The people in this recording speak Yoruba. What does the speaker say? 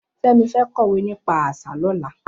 Femi fẹ̀ kọwé nipà awọn àṣá lọ̀lá